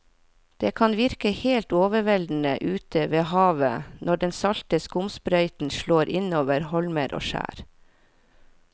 Det kan virke helt overveldende ute ved havet når den salte skumsprøyten slår innover holmer og skjær.